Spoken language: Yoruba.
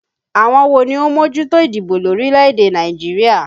Àwọn wo ni ó ń mójútó ìdìbò lórílẹ̀ èdè Nàìjíríà?